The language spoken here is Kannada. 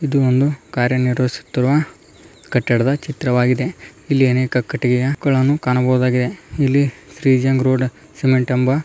ಇದು ಒಂದು ಕಾರ್ಯನಿವರ್ಹಿಸುತ್ತಿರುವ ಕಟ್ಟಡದ ಚಿತ್ರವಾಗಿದೆ ಇಲ್ಲಿ ಅನೇಕ ಕಟ್ಟಿಗೆಯ ಕೋಲನ್ನು ಕಾಣಬಹುದಾಗಿದೆ ಇಲ್ಲಿ ಶ್ರೀ ಜಂಗ್ ರೋಡ್ ಸಿಮೆಂಟ್ ಎಂಬ --